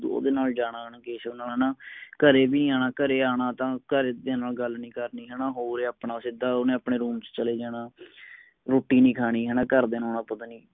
ਹੈਨਾ ਘਰੇ ਵੀ ਨਹੀ ਅਨਾ ਘਰੇ ਅਨਾ ਤਾ ਘਰਦਿਆਂ ਨਾਲ ਗੱਲ ਨਹੀ ਕਰਨੀ ਹੇਨਾ ਹੋਰ ਆਪਣਾ ਸਿੱਧਾ ਉਨੇ ਆਪਣੇ room ਚੇ ਚਲੇ ਜਾਣਾ ਰੋਟੀ ਨਹੀ ਖਾਣੀ ਹਨ ਘਰ ਦੀਆ ਨਾਲ ਪਤਾ ਨੀ